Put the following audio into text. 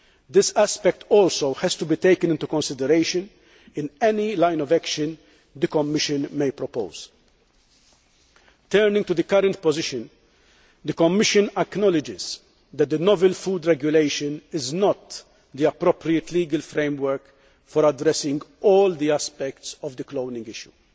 This aspect also has to be taken into consideration in any line of action the Commission may propose. Turning to the current position, the Commission acknowledges that the Novel Food Regulation is not the appropriate legal framework for addressing all aspects of the cloning issue.